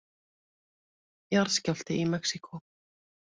Jarðskjálfti í Mexíkó